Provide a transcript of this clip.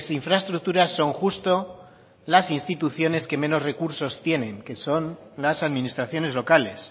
infraestructuras son justo las instituciones que menos recursos tienen que son las administraciones locales